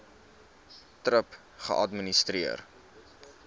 thrip geadministreer